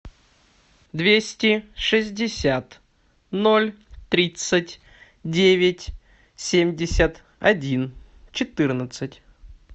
двести шестьдесят ноль тридцать девять семьдесят один четырнадцать